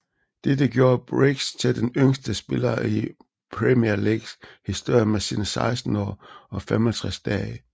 Dette gjorde Briggs til den yngste spiller i Premier Leagues historie med sine 16 år og 65 dage